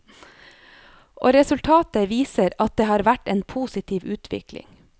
Og resultatet viser at det har vært en positiv utvikling.